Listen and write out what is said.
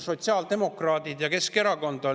Sotsiaaldemokraadid ja Keskerakond on.